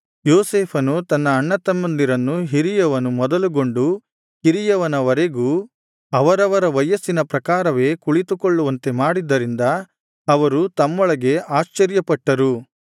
ಯೋಸೇಫನು ತನ್ನ ಅಣ್ಣತಮ್ಮಂದಿರನ್ನು ಹಿರಿಯವನು ಮೊದಲುಗೊಂಡು ಕಿರಿಯವನವರೆಗೂ ಅವರವರ ವಯಸ್ಸಿನ ಪ್ರಕಾರವೇ ಕುಳಿತುಕೊಳ್ಳುವಂತೆ ಮಾಡಿದ್ದರಿಂದ ಅವರು ತಮ್ಮೊಳಗೆ ಆಶ್ಚರ್ಯಪಟ್ಟರು